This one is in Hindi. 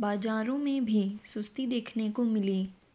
बाजारों में भी सुस्ती देखने को मिली